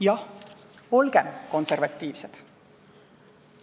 Jah, olgem konservatiivsed!